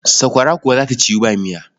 Sakwara kuwa za ta ciwu ba miya.